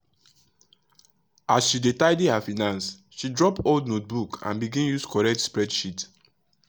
as she dey tidy her finance she drop old notebook and begin use correct spreadsheet.